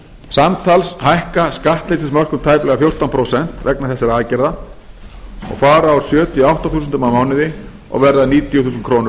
samtals hækka skattleysismörk um tæplega fjórtán prósent vegna þessara aðgerða og fara úr sjötíu og átta þúsundum á mánuði og verða níutíu þúskr á